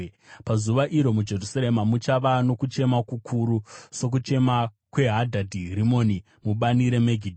Pazuva iro muJerusarema muchava nokuchema kukuru sokuchema kweHadhadhi Rimoni mubani reMegidho.